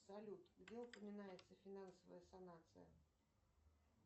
салют где упоминается финансовая сонация